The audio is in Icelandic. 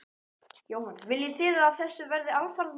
Jóhann: Viljið þið að þessu verði alfarið lokað?